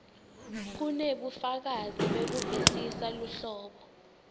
kunebufakazi bekuvisisa luhlobo